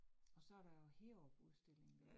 Og så der jo Heerup udstillingen